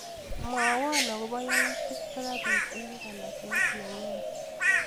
Mwawa akobo yautik chekapit eng nganaset nenyuu.